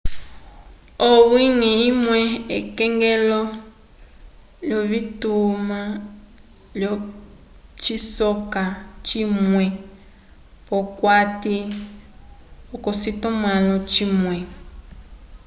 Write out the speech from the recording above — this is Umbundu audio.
owiñgi umwe ekongelo lyovitima lyocisoka cimwe p'okati k'ocitumãlo cimwe